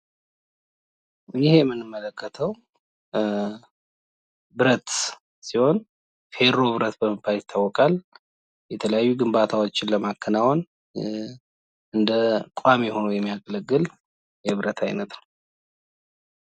ይህ በምስሉ ላይ የምንመለከተው ብረት ሲሆን ፤ ፌሮ ብረት ይባላል። የተለያዩ ግምባታዎችን ለማከናወን ቋሚ ሆኖ ያገለግላል።